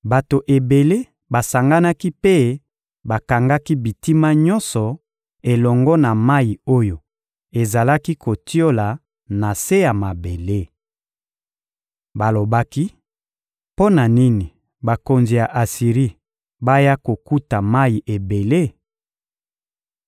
Bato ebele basanganaki mpe bakangaki bitima nyonso elongo na mayi oyo ezalaki kotiola na se ya mabele. Balobaki: — Mpo na nini bakonzi ya Asiri baya kokuta mayi ebele?